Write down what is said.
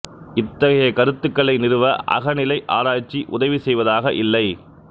இத்தகைய கருத்துக்களை நிறுவ அகநிலை ஆராய்ச்சி உதவி செய்வதாக இல்லை